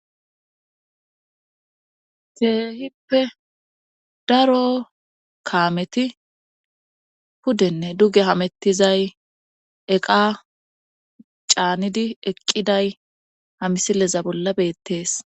Keehippe daro kaameti puddenne duge hamettizay eqa caanidi eqqiday hamisileza bolla beettees